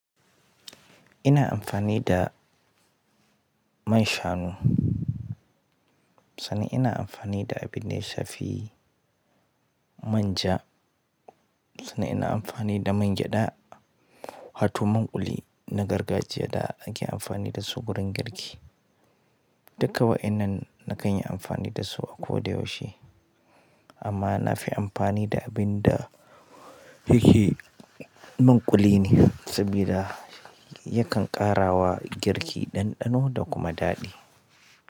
Ina amfani da man shanu, sanan ina amfani da abin ya shafi manja, sanam ina amfani da man gyada, wato man kuli na gargajiya da ake amfani dasu wurin girki. Duka wa'inan na kan yi amfani dasu a koda yaushe. Amma na fi amfani da abin da yake man kuli ne sabida yakan ƙara wa girki ɗanɗano da kuma daɗi.